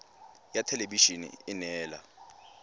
ya thelebi ene e neela